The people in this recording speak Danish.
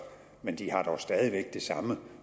men de har dog stadig væk det samme